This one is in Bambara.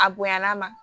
A bonyala ma